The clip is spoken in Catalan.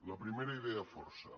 la primera idea força